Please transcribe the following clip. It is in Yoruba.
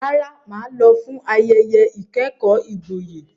Rárá, mà á lọ fún ayẹyẹ ìkẹ́kọ̀ọ́ gboyè.